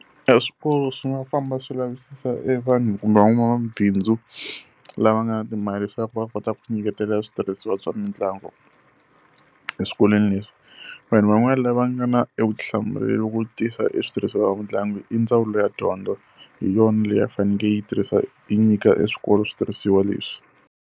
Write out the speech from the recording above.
E swikolo swi nga famba swi lavisisa e vanhu kumbe van'wamabindzu lava nga ni timali leswaku va kota ku ti nyikela switirhisiwa bya mitlangu eswikolweni leswi. Vanhu van'wani lava nga na e vutihlamuleri ku tisa e switirhisiwa swa mitlangu i ndzawulo ya dyondzo, hi yona leyi yi fanekele yi tirhisa yi nyika e swikolo switirhisiwa leswi.